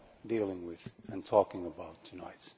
dealing with and talking about tonight.